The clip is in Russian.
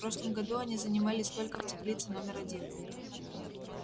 в прошлом году они занимались только в теплице номер один